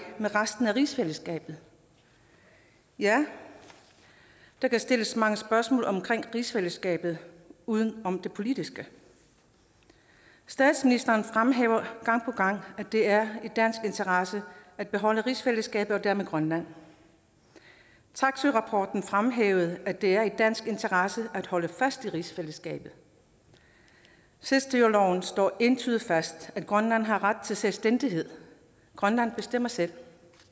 med resten af rigsfællesskabet ja der kan stilles mange spørgsmål omkring rigsfællesskabet uden om det politiske statsministeren fremhæver gang på gang at det er i dansk interesse at beholde rigsfællesskabet og dermed grønland taksøerapporten fremhævede at det er i dansk interesse at holde fast i rigsfællesskabet selvstyreloven slår entydigt fast at grønland har ret til selvstændighed grønland bestemmer selv